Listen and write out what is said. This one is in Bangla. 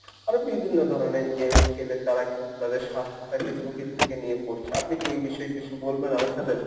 আরো বিভিন্ন ধরণের game খেলে তারা কিন্তু তাদের স্বাস্থ্যটাকে ঝুঁকির দিকে নিয়ে পড়ছে। আপনি কি এই বিষয়ে কিছু বলবেন আমার সাথে?